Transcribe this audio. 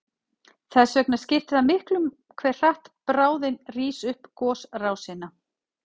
Þess vegna skiptir það miklu hve hratt bráðin rís upp gosrásina.